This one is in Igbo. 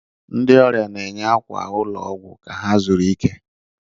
Ndị ọrịa na-enye akwa ụlọ ọgwụ ka ha zuru ike.